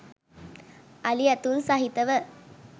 අලි ඇතුන් සහිතව